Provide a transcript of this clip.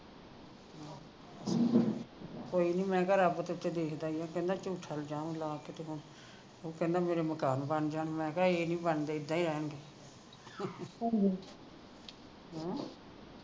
ਕੋਈ ਨਹੀਂ ਮੈਂ ਕਿਹਾ ਰੱਬ ਤੇ ਉੱਤੇ ਦੇਖਦਾ ਹੀ ਆ ਕਹਿੰਦਾ ਝੂਠਾ ਇਲਜਾਮ ਲਾ ਕੇ ਤੇ ਹੁਣ ਉਹ ਕਹਿੰਦਾ ਮੇਰੇ ਮਕਾਨ ਬਣ ਜਾਣ ਮੈਂ ਕਿਹਾ ਇਹ ਨਹੀਂ ਬਣਦੇ ਇੱਦਾ ਹੀ ਰਹਿਣਗੇ ਹਮ